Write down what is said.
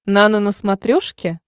нано на смотрешке